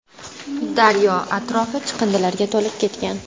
Daryo atrofi chiqindilarga to‘lib ketgan.